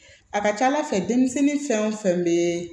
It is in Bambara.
A ka ca ala fɛ denmisɛnnin fɛn o fɛn bɛ